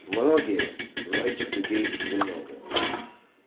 многие но этих людей немного